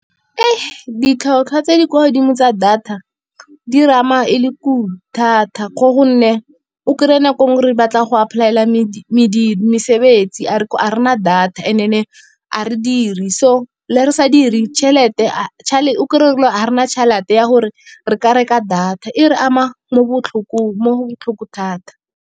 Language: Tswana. Ditlhotlhwa tse di kwa godimo tsa data di re ama e le kudu thata go gonne o kry-a gore ba tla go apply-ela mesebetsi a re na data. And-e ga re dire, so le re sa dire o kry-a gore ga rena tšhelete, ya gore re ka reka data. E re ama mo go botlhoko thata.